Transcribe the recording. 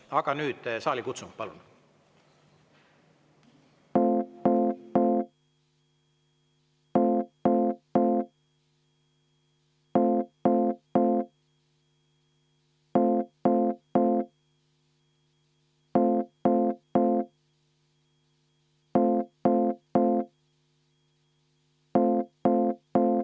Aga nüüd saalikutsung, palun!